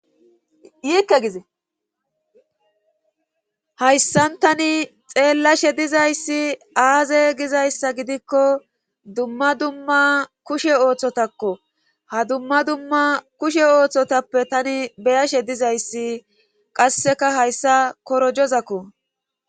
Yiikke gize hayssan tani xeellashe dizayssi aaze gizayssa gidikko dumma dumma kushe ooththotakko ha dumma dumma kushe ooththotappe tani beyashe dizayssi qasseka hayssa korojozakko.